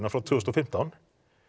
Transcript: frá tvö þúsund og fimmtán